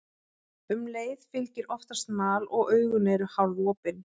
Um leið fylgir oftast mal og augun eru hálfopin.